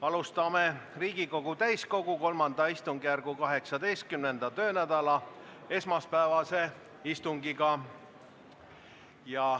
Alustame Riigikogu täiskogu III istungjärgu 18. töönädala esmaspäevast istungit.